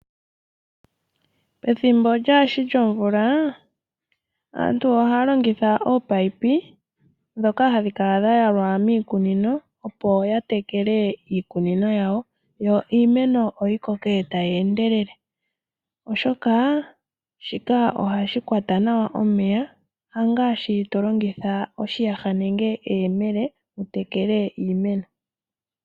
Pethimbo lyaashi lyomvula aantu ohaya longitha ominino ndhoka hadhi kala dha yalwa miikununo opo ya tekele iimeno yawo, yo iimeno yikoke tayi endelele, oshoka shika ohashi kwata nawa omeya, hangaashi tolongitha oshiyaha nenge eyemele wutekele iimeno.